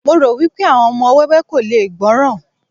mo ro wipe àwọn ọmọ wẹwẹ ko le gbọràn